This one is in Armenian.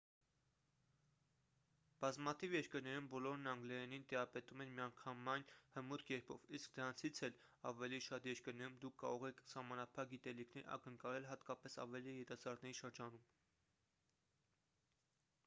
բազմաթիվ երկրներում բոլորն անգլերենին տիրապետում են միանգամայն հմուտ կերպով իսկ դրանից էլ ավելի շատ երկրներում դուք կարող եք սահմանափակ գիտելիքներ ակնկալել հատկապես ավելի երիտասարդների շրջանում